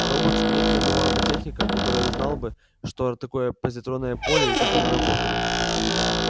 роботс нет ни одного роботехника который знал бы что такое позитронное поле и как оно работает